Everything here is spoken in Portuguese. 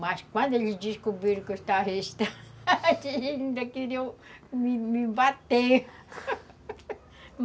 Mas quando eles descobriram que eu estava estragada, eles ainda queriam me bater